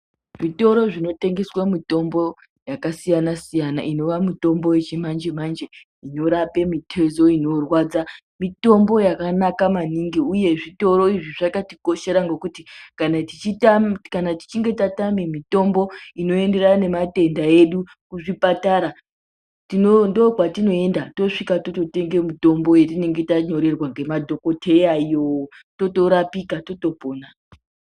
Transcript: Zvitoro zvinotengeswa mitombo yakasiyana-siyana inowa mitombo yechimanje-manje, inorapa mitezo inorwadza. Mitombo yakanaka maningi, uye zvitoro izvi zvakatikoshera ngekuti kana tichinge tatama mitombo inoenderana nematenda edu kuzvipatara ndokwatinoenda toguma totenga mitombo ye tinenge tanyorerwa ngemadhokodheya iyo totorapika, totopona.